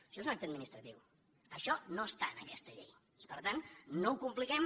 això és un acte administratiu això no està en aquesta llei per tant no ho compliquem